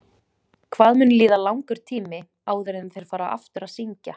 Hvað mun líða langur tími áður en þeir fara aftur að syngja?